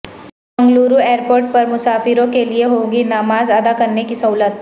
Mangaluru airport پرمسافروں کے لئے ہوگی نمازادا کرنے کی سہولت